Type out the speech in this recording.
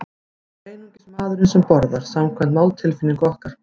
Það er einungis maðurinn sem borðar, samkvæmt máltilfinningu okkar.